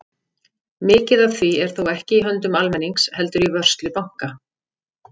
Mikið af því er þó ekki í höndum almennings heldur í vörslu banka.